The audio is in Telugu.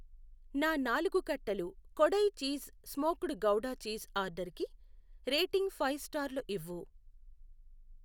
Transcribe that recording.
నా నాలుగు కట్టలు Kodai cheese smoked gouda cheese ఆర్డరుకి రేటింగ్ ఫైవ్ స్టార్లు ఇవ్వు.